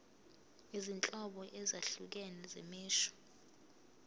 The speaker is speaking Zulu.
izinhlobo ezahlukene zemisho